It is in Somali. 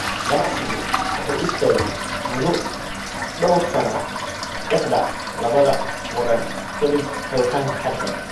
Ganacsigu wuxuu istaagay muddo dhowr sano ah dhexda labada waddan kadib xiritaanka xadka.